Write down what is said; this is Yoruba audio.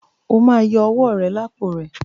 O má yọ owó rẹ lápò rẹ!